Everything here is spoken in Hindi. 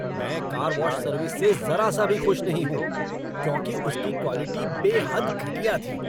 मैं कार वॉश सर्विस से ज़रा सा भी खुश नहीं हूँ, क्योंकि उसकी क्वालिटी बेहद घटिया थी।